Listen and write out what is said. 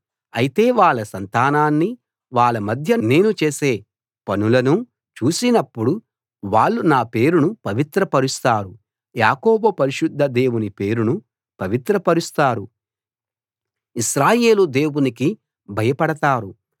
అయితే వాళ్ళ సంతానాన్నీ వాళ్ళ మధ్య నేను చేసే పనులనూ చూసినప్పుడు వాళ్ళు నా పేరును పవిత్ర పరుస్తారు యాకోబు పరిశుద్ధ దేవుని పేరును పవిత్రపరుస్తారు ఇశ్రాయేలు దేవునికి భయపడతారు